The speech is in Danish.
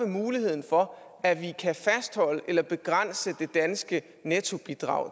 muligheden for at vi kan fastholde eller begrænse det danske nettobidrag